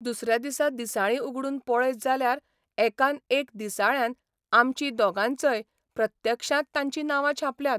दुसऱ्या दिसा दिसाळीं उगडून पळयत जाल्यार एकान एक दिसाळ्यान आमचीं दोगांयचय प्रत्यक्षांत तांचीं नांवां छापल्यांत.